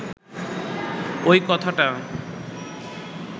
ঐ কথাটা